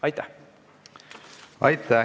Aitäh!